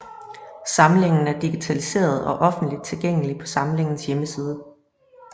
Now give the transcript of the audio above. Samlingen er digitaliseret og offentligt tilgængelig på samlingens hjemmeside